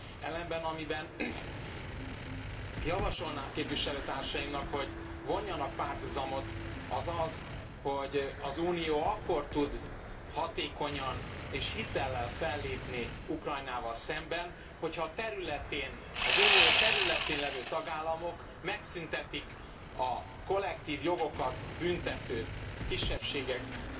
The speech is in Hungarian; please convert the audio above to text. Ellenben amiben javasolnám képviselőtársaimnak, hogy vonjanak párhuzamot, az az, hogy az Unió akkor tud hatékonyan és hitellel fellépni Ukrajnával szemben, hogyha a területén, az Unió területén levő tagállamok megszüntetik a kollektív jogokat büntető, kisebbségek